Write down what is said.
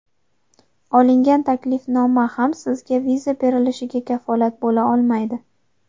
Olingan taklifnoma ham sizga viza berilishiga kafolat bo‘la olmaydi.